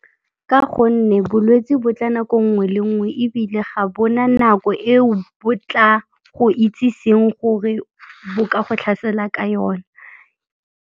Ka gonne bolwetse bo tla nako nngwe le nngwe ebile ga bona nako eo bo tla go itseseng gore bo ka go tlhasela ka yona.